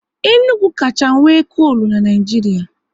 Enugu kacha nwe kolu n'Naijiria